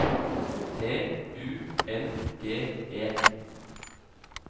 T U N G E